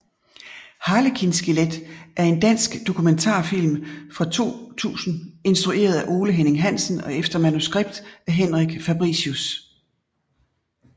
Harlekin skelet er en dansk dokumentarfilm fra 2000 instrueret af Ole Henning Hansen og efter manuskript af Henrik Fabricius